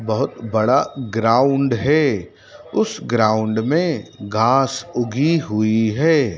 बहुत बड़ा ग्राउंड है उस ग्राउंड मे घास उगी हुई है।